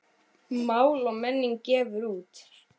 Mál og menning gefur út.